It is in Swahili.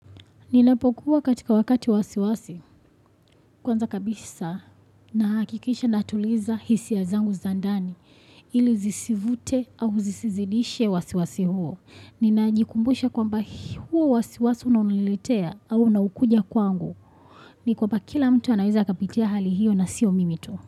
Ninapokuwa katika wakati wasiwasi kwanza kabisa na hakikisha natuliza hisia zangu za ndani ili zisivute au zisizidishe wasiwasi huo. Ninajikumbusha kwamba huo wasiwasi unaonilitea au unaokuja kwangu. Ni kwamba kila mtu anaweza akapitia hali hiyo na sio mimi tu.